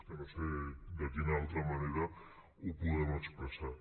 és que no sé de quina altra manera ho podem expressar